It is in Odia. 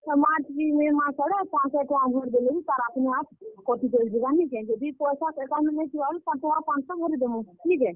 ହେ March କି May ମାସ୍ ଆଡେ ପାଞ୍ଚଶ ଟଙ୍କା ଭରିଦେଲେ ବି ତାର୍ अपनेआप , କଟି କରି ଯିବା ନିକେଁ, ଯଦି ପଏଶା account ରେ ନେଇ ଥିବା ବେଲେ, ଟଙ୍କା ପାଞ୍ଚଶ ଭରିଦେମୁ। ନିକେଁ?